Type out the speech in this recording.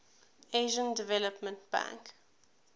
asian development bank